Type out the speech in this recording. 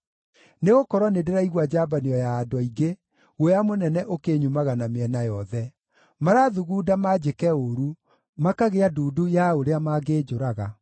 Nĩgũkorwo nĩndĩraigua njambanio ya andũ aingĩ; guoya mũnene ũkĩnyumaga na mĩena yothe; marathugunda manjĩke ũũru, makagĩa ndundu ya ũrĩa mangĩnjũraga.